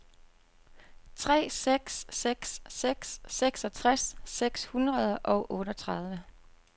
tre seks seks seks seksogtres seks hundrede og otteogtredive